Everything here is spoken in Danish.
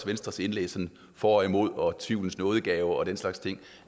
venstres indlæg for og imod og tvivlens nådegave og den slags ting